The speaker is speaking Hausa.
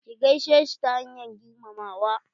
Ki gaishe shi ta hanyar girmamawa.